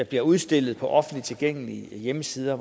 bliver udstillet på offentligt tilgængelige hjemmesider